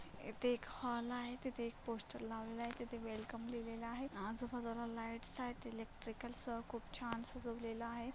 येथे एक हॉल आहे. तिथे एक पोस्टर लावलेल आहे तिथे वेलकम लिहलेल आहे. आजू बाजूला लाइट्स आहेत. इलेक्ट्रिकल्स खूप छान सजवलेल आहे.